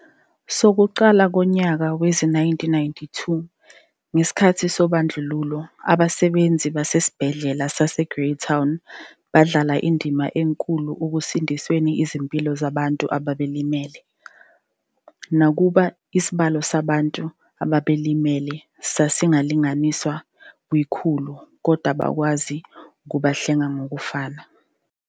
Sokuqala ngonyaka wezi-1992 ngesikhathi sobandlululo abasebenzi basesiBhedlela saseGreytown badlala indima enkulu ukusindisa izimpilo zabantu ababelimele. Nakuba isibalo sabantu ababelimele sasi sasilinganiselwa kwikhulu kodwa bakwazi ukubahlenga ngokufane.